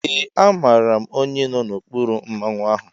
Ee amaara m onye nọ n'okpuru Mmanwu ahụ.